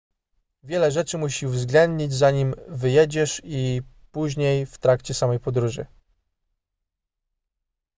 wiele rzeczy musi uwzględnić zanim wyjedziesz i później w trakcie samej podróży